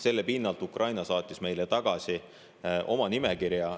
Selle pinnalt Ukraina saatis meile tagasi oma nimekirja.